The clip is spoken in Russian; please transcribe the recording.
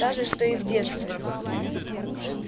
та же что и в детстве